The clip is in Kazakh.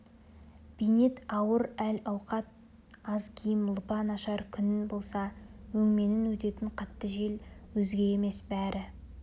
бейнет ауыр әл-ауқат аз киім лыпа нашар күн болса өңменінен өтетін қатты жел өзге емес бәрі